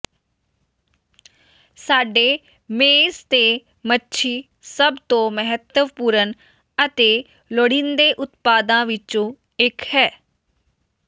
ਸਾਡੇ ਮੇਜ਼ ਤੇ ਮੱਛੀ ਸਭ ਤੋਂ ਮਹੱਤਵਪੂਰਣ ਅਤੇ ਲੋੜੀਂਦੇ ਉਤਪਾਦਾਂ ਵਿੱਚੋਂ ਇੱਕ ਹੈ